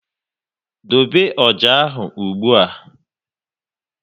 Dobe ọjà ahụ ụgbụa!